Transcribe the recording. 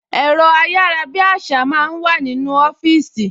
Ẹ̀rọ ayárabíàṣá máa ń wà nínú ọfíìsì